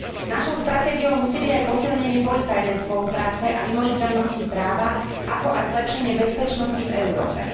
Našou stratégiou musí byť aj posilnenie policajnej spolupráce a vymožiteľnosti práva, ako aj zlepšenie bezpečnosti v Európe.